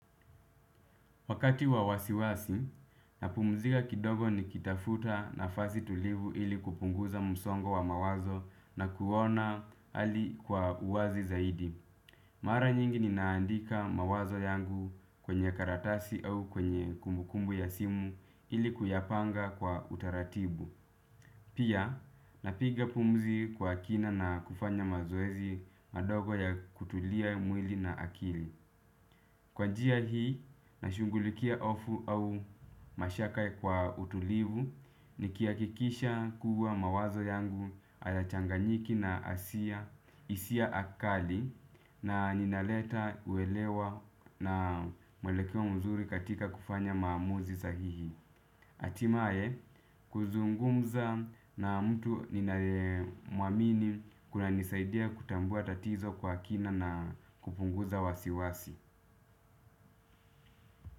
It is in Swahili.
Wakati wa wasiwasi, napumzika kidogo nikitafuta nafasi tulivu ili kupunguza msongo wa mawazo na kuona hali kwa uwazi zaidi. Mara nyingi ninaandika mawazo yangu kwenye karatasi au kwenye kumbukumbu ya simu ili kuyapanga kwa utaratibu. Pia, napiga pumzi kwa kina na kufanya mazoezi madogo ya kutulia mwili na akili. Kwa njia hii nashughulikia hofu au mashaka kwa utulivu nikihakikisha kuwa mawazo yangu hayachanganyiki na asia hisia kali na ninaleta uwelewa na mwelekeo mzuri katika kufanya maamuzi sahihi. Hatimaye kuzungumza na mtu ninaye muamini kunanisaidia kutambua tatizo kwa kina na kupunguza wasiwasi.